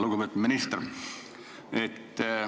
Lugupeetud minister!